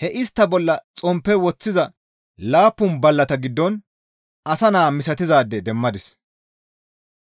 He istta bolla xomppe woththiza laappun ballata giddon asa naa misatizaade demmadis.